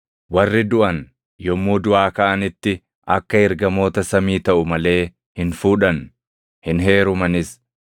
Warri duʼan yommuu duʼaa kaʼanitti akka ergamoota samii taʼu malee hin fuudhan; hin heerumanis.